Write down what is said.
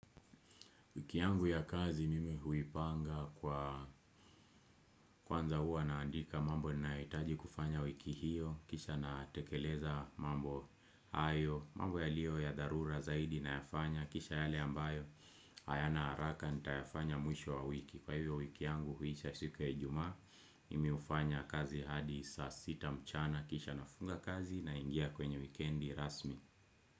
Wiki yangu ya kazi mimi huipanga kwanza hua naandika mambo ninayohitaji kufanya wiki hiyo. Kisha natekeleza mambo ayo. Mambo yalio ya dharura zaidi nayafanya. Kisha yale ambayo hayana haraka nitayafanya mwisho wa wiki. Kwa hiyo wiki yangu huisha siku ya ijumaa. Mimi hufanya kazi hadi saa sita mchana. Kisha nafunga kazi naingia kwenye wikendi rasmi.